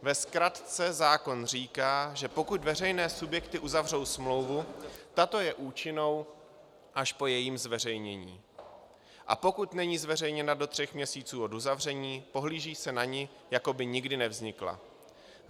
Ve zkratce zákon říká, že pokud veřejné subjekty uzavřou smlouvu, tato je účinnou až po jejím zveřejnění, a pokud není zveřejněna do tří měsíců od uzavření, pohlíží se na ni, jako by nikdy nevznikla.